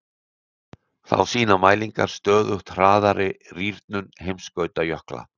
Þá sýna mælingar stöðugt hraðari rýrnun heimskautajökla.